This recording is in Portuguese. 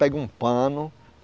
Pega um pano.